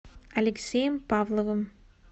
алексеем павловым